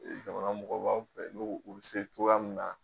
Jamana mɔgɔ b'an fɛ nu o bɛ se cogoya min na.